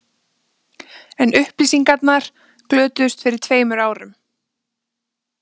En upplýsingarnar glötuðust fyrir tveimur árum